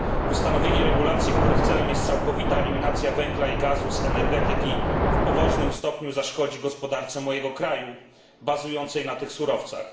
Ustanowienie regulacji, których celem jest całkowita eliminacja węgla i gazu z energetyki w poważnym stopniu zaszkodzi gospodarce mojego kraju bazującej na tych surowcach.